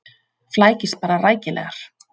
Flækist bara rækilegar.